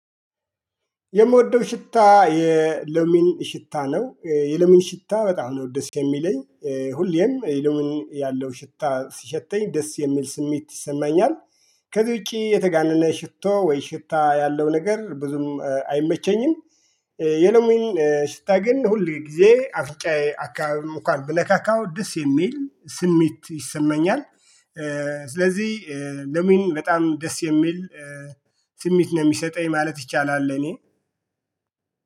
የምወደው ሽታ የሎሚን ሽታ ነው። የሎሚን ሽታ በጣም ነው ደስ የሚለኝ ሁሌም የሎሚን ያለው ሽታ ሲሸተኝ ደስ የሚል ስሜት ይሰማኛል ከዚ ውጭ የተጋነነ ሽቶ ወይ ሽታ ያለው ነገር ብዙም አይመቸኝም የሎሚን ሽታ ግን ሁል ጊዜ አፍጫዬ አካባቢ እኳን ብነካካው ደስ የሚል ስሜት ይሰማኛል። ስለዚህ ሎሚን በጣም ደስ የሚል ስሜት ነው የሚሰጠኝ ማለት ይቻላል እኔ